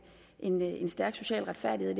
en en stærk social retfærdighed i